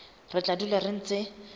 re tla dula re ntse